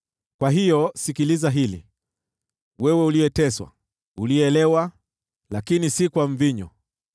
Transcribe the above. Kwa hiyo sikiliza hili, wewe uliyeteswa, uliyelewa, lakini si kwa mvinyo.